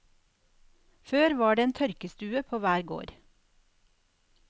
Før var det en tørkestue på hver gård.